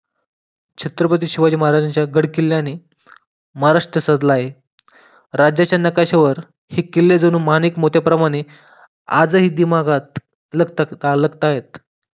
छत्रपती शिवाजी महाराजा च्या गड किल्याने माहाराष्ट्र सजला आहे राज्याच्या नाकाशावर ही किल्ले जणू माणिक मोती प्रमाणे आजही दिमागात लागत लागतायत.